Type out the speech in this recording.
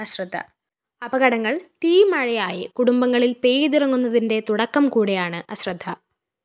അപകടങ്ങള്‍ തീമഴയായി കുടുംബങ്ങളില്‍ പെയ്തിറങ്ങുന്നതിന്റെ തുടക്കം കൂടിയാണ് അശ്രദ്ധ